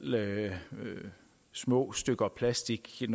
små stykker plastik i